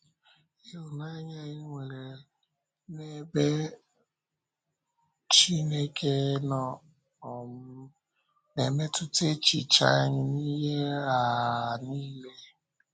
Ịhụnanya anyị nwere n’ebe um Chineke nọ um na-emetụta echiche anyị n’ihe um niile.